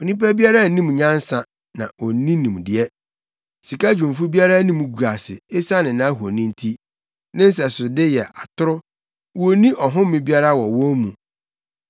Onipa biara nnim nyansa, na onni nimdeɛ; sikadwumfo biara anim gu ase, esiane nʼahoni nti. Ne nsɛsode yɛ atoro; wonni ɔhome biara wɔ wɔn mu.